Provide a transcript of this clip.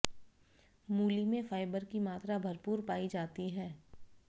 मूली में फाइबर की मात्रा भरपूर पाई जाती है